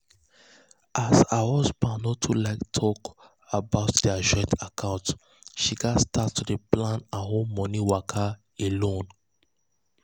as um her husband no too like talk about their joint account she gats start to plan her um money waka um alone.